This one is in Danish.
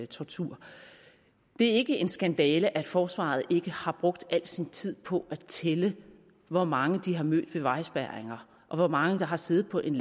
tortur det er ikke en skandale at forsvaret ikke har brugt al sin tid på at tælle hvor mange de har mødt ved vejspærringer og hvor mange der har siddet på en